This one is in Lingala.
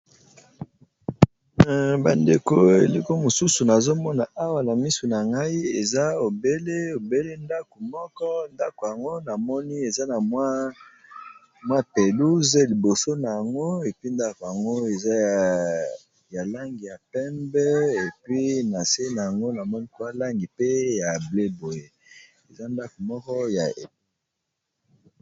Bandeko eloko mosusu nazomona awa na misu na ngai eza obele obele ndako moko, ndako yango namoni eza na mwa pelouse liboso na yango est puis ndako yango eza ya langi ya pembe est puis na se na yango namoni mwa langi pe ya bleu boye eza ndako moko ya......